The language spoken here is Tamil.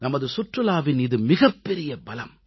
நமது சுற்றுலாவின் இது மிகப்பெரிய பலம்